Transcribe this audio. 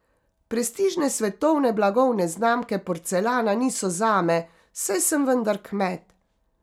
Prestižne svetovne blagovne znamke porcelana niso zame, saj sem vendar kmet.